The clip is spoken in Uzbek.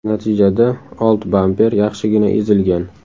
Natijada old bamper yaxshigina ezilgan.